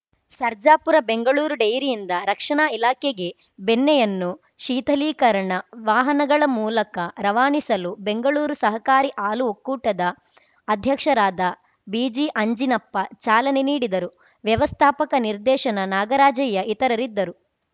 ಸರ್ಜಾಪುರ ಬೆಂಗಳೂರು ಡೈರಿಯಿಂದ ರಕ್ಷಣಾ ಇಲಾಖೆಗೆ ಬೆಣ್ಣೆಯನ್ನು ಶೀಥಲೀಕರಣ ವಾಹನಗಳ ಮೂಲಕ ರವಾನಿಸಲು ಬೆಂಗಳೂರು ಸಹಕಾರಿ ಹಾಲು ಒಕ್ಕೂಟದ ಅಧ್ಯಕ್ಷರಾದ ಬಿಜಿಆಂಜಿನಪ್ಪ ಚಾಲನೆ ನೀಡಿದರು ವ್ಯವಸ್ಥಾಪಕ ನಿರ್ದೇಶನ ನಾಗರಾಜಯ್ಯ ಇತರರಿದ್ದರು